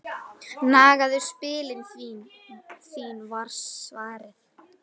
Nagaðu spilin þín var svarið.